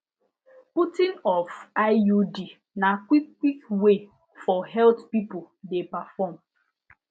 putting of iud na quick quick way for health people de perform